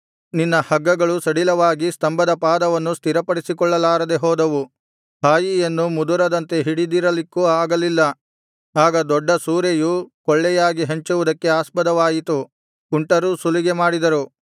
ನಿನ್ನ ಹಗ್ಗಗಳು ಸಡಿಲವಾಗಿ ಸ್ತಂಭದ ಪಾದವನ್ನು ಸ್ಥಿರಪಡಿಸಿಕೊಳ್ಳಲಾರದೆ ಹೋದವು ಹಾಯಿಯನ್ನು ಮುದುರದಂತೆ ಹಿಡಿದಿರಲಿಕ್ಕೂ ಆಗಲಿಲ್ಲ ಆಗ ದೊಡ್ಡ ಸೂರೆಯು ಕೊಳ್ಳೆಯಾಗಿ ಹಂಚುವುದಕ್ಕೆ ಆಸ್ಪದವಾಯಿತು ಕುಂಟರೂ ಸುಲಿಗೆ ಮಾಡಿದರು